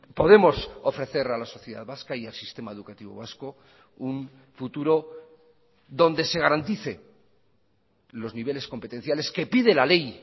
podemos ofrecer a la sociedad vasca y al sistema educativo vasco un futuro donde se garantice los niveles competenciales que pide la ley